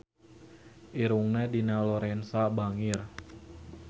Irungna Dina Lorenza bangir